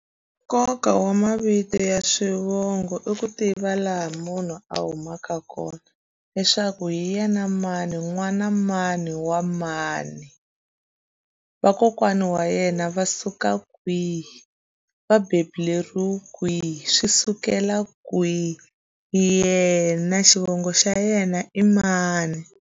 Nkoka wa mavito ya swivongo i ku tiva laha munhu a humaka kona leswaku hi yena mani n'wana mani wa mani vakokwana wa yena va suka kwihi va bebuleriwe kwihi swi sukela kwihi yena xivongo xa yena i mani.